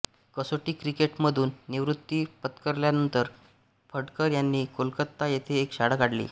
कसोटी क्रिकेट मधून निवृत्ती पत्करल्यानंतर फडकर यांनी कोलकाता येथे एक शाळा काढली